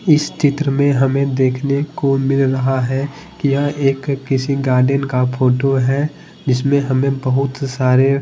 इस चित्र में हमें देखने को मिल रहा है कि यह एक किसी गार्डन का फोटो है जिसमें हमें बहुत सारे--